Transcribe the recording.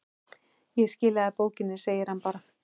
Ég skila bókinni, segir hann bara.